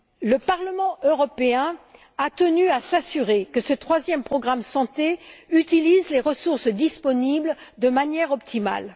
Le Parlement européen a tenu à s'assurer que ce troisième programme Santé utilise les ressources disponibles de manière optimale.